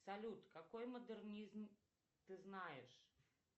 салют какой модернизм ты знаешь